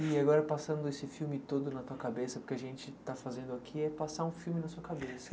E agora, passando esse filme todo na sua cabeça, porque a gente está fazendo aqui, é passar um filme na sua cabeça.